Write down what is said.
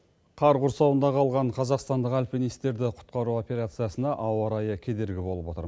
қар құрсауында қалған қазақстандық альпинистерді құтқару операциясына ауа райы кедергі болып отыр